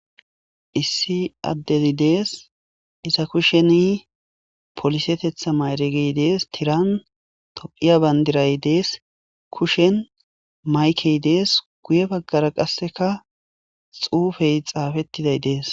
issi addezi dees iza kushen polisetetha mayregey dees tiran tophiya bandiray dees kushen maykey dees guye baggara qasseka xuufey xaafettiday dees